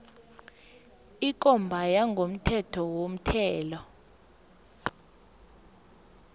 ikomba yangokomthetho yomthelo